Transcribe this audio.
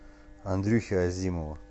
андрюхи азимова